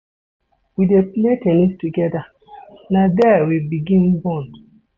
We dey play ten nis togeda, na there we begin bond.